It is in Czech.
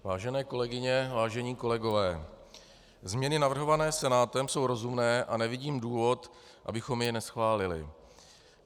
Vážené kolegyně, vážení kolegové, změny navrhované Senátem jsou rozumné a nevidím důvod, abychom je neschválili.